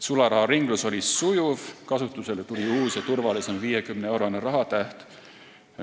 Sularaharinglus oli sujuv, kasutusele tuli uus ja turvalisem 50-eurone rahatäht.